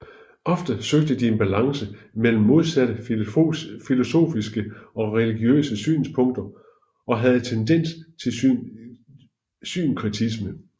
Ofte søgte de en balance mellem modsatte filosofiske og religiøse synspunkter og havde tendens til synkretisme